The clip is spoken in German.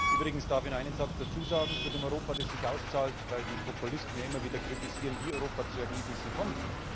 Übrigens darf ich noch einen Satz dazu sagen, zu dem Europa, das sich auszahlt, weil die Populisten ja immer wieder kritisieren, wie Europa zu Ergebnissen kommt.